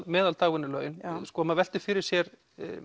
meðal dagvinnulaun maður veltir fyrir sér